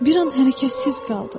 Bir an hərəkətsiz qaldı.